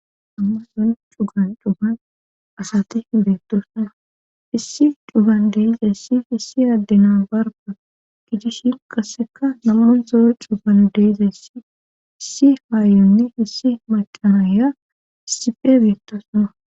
amma son cugan cuban asati beettosnaa issi cugan deizayssi hissi addena barga gidishin kasseka namunzo cugan deizayssi issi haayunne hissi macanaya siphe beettasuna